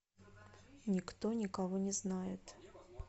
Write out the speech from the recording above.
никто никого не знает